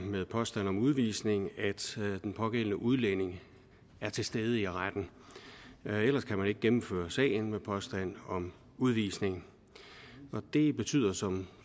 med påstand om udvisning at den pågældende udlænding er til stede i retten ellers kan man ikke gennemføre sagen med påstand om udvisning det betyder som